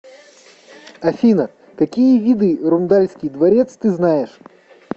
афина какие виды рундальский дворец ты знаешь